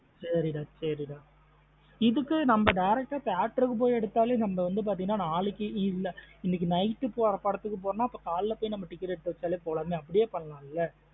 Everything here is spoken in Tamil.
சரி டா சாரி டா இதுக்கு நம்ம direct theatre போய் எடுத்தாலே நம்ம வந்து பாத்தேன நலைக்கு இல்ல இன்னைக்கு night போற படத்துக்கு போரென நம்ம காலைல போய் ticket எடுத்து வச்சாலே போலமே அப்டியே பண்ணலால.